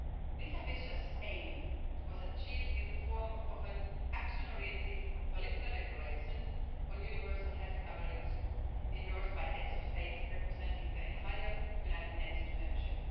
This ambitious aim was achieved in the form of an action oriented political declaration on universal health coverage endorsed by heads of states representing the entire United Nations membership.